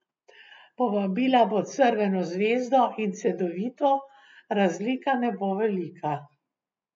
Povabila bo Crveno zvezdo in Cedevito, razlika ne bo velika.